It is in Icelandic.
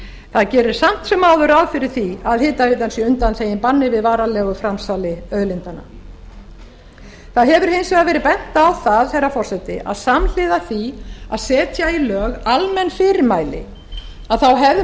það gerir samt sem áður ráð fyrir því að hitaveitan sé undanþegin banni við varanlegu framsali auðlindanna það hefur hins vegar verið bent á það herra forseti að samhliða því að setja í lög almenn fyrirmæli hefði